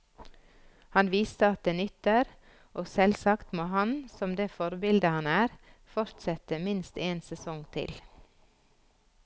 Han viste at det nytter, og selvsagt må han, som det forbilde han er, fortsette minst en sesong til.